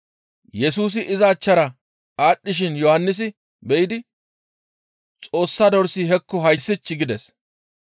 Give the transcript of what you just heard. Yesusi iza achchara aadhdhishin Yohannisi be7idi, «Xoossa dorsi hekko hayssich!» gides.